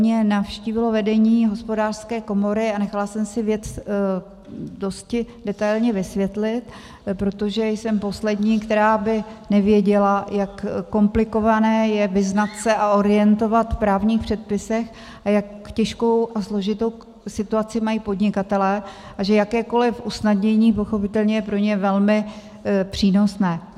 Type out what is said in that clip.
Mě navštívilo vedení Hospodářské komory a nechala jsem si věc dosti detailně vysvětlit, protože jsem poslední, která by nevěděla, jak komplikované je vyznat se a orientovat v právních předpisech a jak těžkou a složitou situaci mají podnikatelé a že jakékoliv usnadnění pochopitelně je pro ně velmi přínosné.